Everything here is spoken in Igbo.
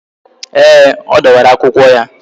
Ee, ọ dọwara akwụkwọ ya